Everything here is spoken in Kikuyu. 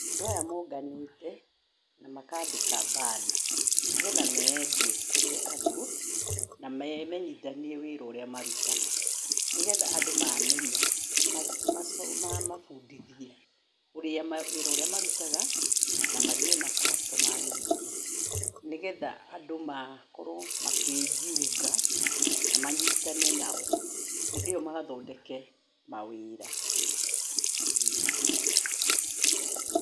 Andũ aya monganĩte, na makandĩka banner nĩgetha meendie kũrĩ andũ, na memenyithanie wĩra ũrĩa marutaga, nĩgetha andũ mamenya, mamabundithie ũrĩa wĩra ũrĩa marutaga, na magĩe na customer nyingĩ, nĩgetha andũ makorwo makĩjiunga, na manyitane nao, hĩndĩ ĩyo mathondeke mawĩra.